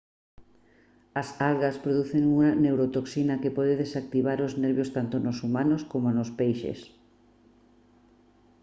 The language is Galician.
as algas producen unha neurotoxina que pode desactivar os nervios tanto nos humanos coma nos peixes